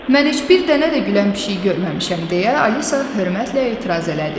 Mən heç bir dənə də gülən pişik görməmişəm, - deyə Alisa hörmətlə etiraz elədi.